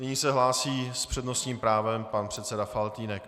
Nyní se hlásí s přednostním právem pan předseda Faltýnek.